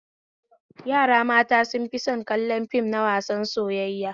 Yara mata sun fi son kallon fim na wasar soyayya